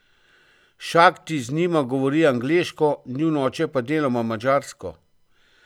Šakti z njima govori angleško, njun oče pa deloma madžarsko.